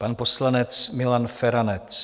Pan poslanec Milan Feranec.